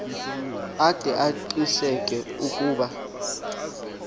ade aqiniseke ukuba